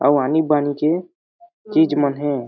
अउ आनी-बानी के चीज मन हे।